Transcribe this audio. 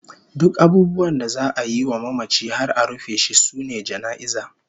Duk abubuwan da za'a yi wa mamaci har a rufe shi sune jana'iza